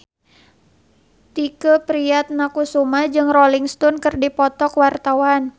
Tike Priatnakusuma jeung Rolling Stone keur dipoto ku wartawan